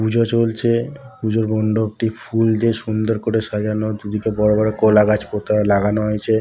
পূজা চলছে পুজোর মন্ডপটি ফুল দিয়ে সুন্দর করে সাজানো দুদিকে বড়ো বড়ো কলাগাছ পোতা লাগানো হয়েছে।